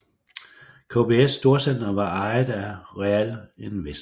KBS storcenter var ejet af Realinvest